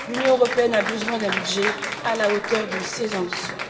L'Union européenne a besoin d'un budget à la hauteur de ses ambitions.